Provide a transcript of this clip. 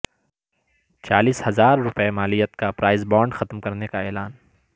چالیس ہزار روپے مالیت کا پرائز بانڈ ختم کرنے کا اعلان